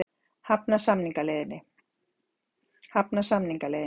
Hafna samningaleiðinni